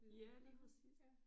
Ja lige præcist